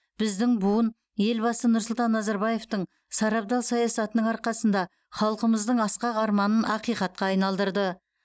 біздің буын елбасы нұрсұлтан назарбаевтың сарабдал саясатының арқасында халқымыздың асқақ арманын ақиқатқа айналдырды